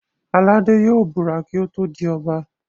Aládé yóò búra kí ó tó di Ọba